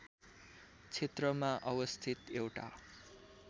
क्षेत्रमा अवस्थित एउटा